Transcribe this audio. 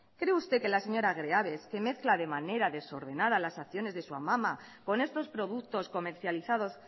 cree usted que la señora greaves que mezcla de manera desordenada las acciones de su amama con estos productos comercializados